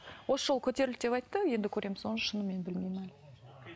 осы жолы көтерілді деп айтты енді көреміз оны шынымен білмеймін әлі